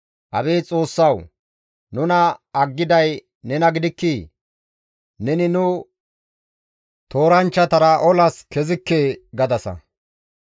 Abeet Xoossawu! Nuna aggiday nena gidikkii? «Neni nu tooranchchatara olas kezikke» gadasa.